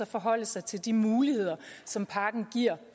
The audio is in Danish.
forholde sig til de muligheder som pakken giver